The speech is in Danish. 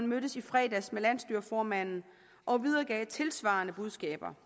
mødtes i fredags med landsstyreformanden og videregav tilsvarende budskaber